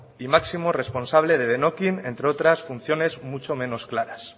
y máximo responsable de denokkin entre otras funciones mucho menos claras